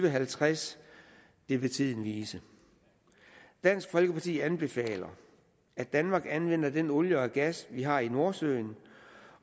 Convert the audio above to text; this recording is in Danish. og halvtreds vil tiden vise dansk folkeparti anbefaler at danmark anvender den olie og gas vi har i nordsøen